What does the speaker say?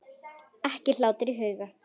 Ekki hlátur í huga.